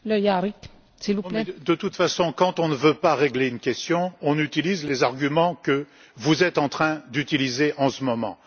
Madame la Présidente, de toute façon, quand on ne veut pas régler une question, on utilise les arguments que vous êtes en train d'utiliser en ce moment.